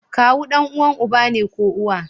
Kawu danuwan uba ne ko uwa